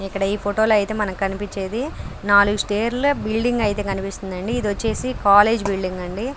ఇక్కడ ఈ ఫోటో లు అయితే మనకు కనిపించేది నాలుగు స్తైర్స్ బిల్డింగ్ అయితే కనిపిస్తుందని ఇది వచ్చేసి కాలేజ్ బిల్డింగ్ అండి.